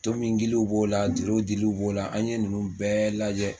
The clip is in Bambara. Tomi giliw b'o la toro giliw b'o la an ye ninnu bɛɛ lajɛ.